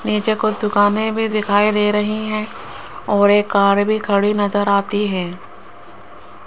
नीचे कुछ दुकानें भी दिखाई दे रही हैं और एक कार भी खड़ी नजर आती है।